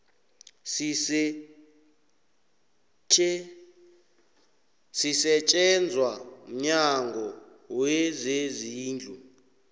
sisetjenzwa mnyango wezezindlu